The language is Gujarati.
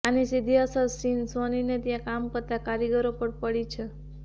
આની સીધી અસર સોનીને ત્યાં કામ કરતા કારીગરો પર પડી છે